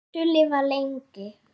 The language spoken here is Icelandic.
Viltu lifa lengi?